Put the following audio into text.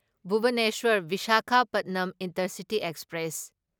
Bhubaneswar Visakhapatnam Intercity express